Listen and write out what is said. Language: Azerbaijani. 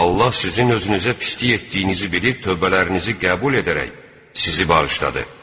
Allah sizin özünüzə pislik etdiyinizi bilib tövbələrinizi qəbul edərək sizi bağışladı.